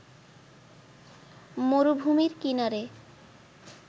মরুভূমির কিনারে